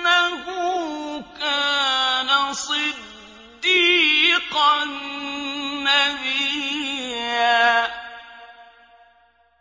إِنَّهُ كَانَ صِدِّيقًا نَّبِيًّا